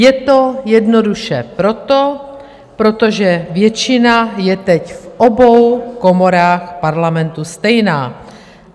Je to jednoduše proto, protože většina je teď v obou komorách Parlamentu stejná.